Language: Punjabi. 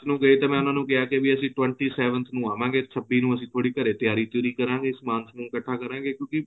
ਗਏ ਤੇ ਮੈਂ ਉਹਨਾਂ ਨੂੰ ਕਿਹਾ ਕਿ ਅਸੀਂ twenty seventh ਨੂੰ ਆਵਾਂਗੇ ਛੱਬੀ ਨੂੰ ਅਸੀਂ ਥੋੜੀ ਘਰੇ ਤਿਆਰੀ ਤਿਉਰੀ ਕਰਾਂਗੇ ਸਮਾਨ ਸਮੂਨ ਇੱਕਠਾ ਕਰਾਂਗੇ ਕਿਉਂਕਿ